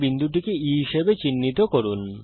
এই বিন্দুটিকে E হিসাবে চিহ্নিত করুন